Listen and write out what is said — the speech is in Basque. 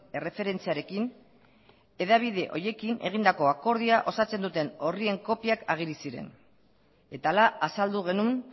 erreferentziarekin hedabide horiekin egindako akordioa osatzen duten orrien kopiak ageri ziren eta hala azaldu genuen